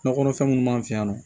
Sunɔgɔ kɔnɔfɛn minnu b'an fɛ yan nɔ